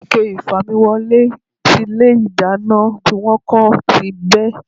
Ike ìfamiwọlé tí ilé ìdáná tí wón kó ti bẹ́.